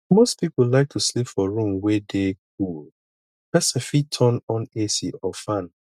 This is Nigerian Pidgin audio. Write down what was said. most people like to sleep for room wey dey cool person fit turn on ac or fan